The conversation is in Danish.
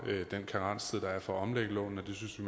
den karenstid der er for at omlægge lånene det synes vi